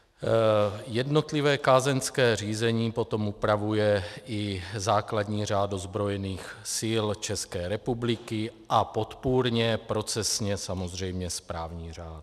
Jednotlivé kázeňské řízení potom upravuje i základní řád ozbrojených sil České republiky a podpůrně procesně samozřejmě správní řád.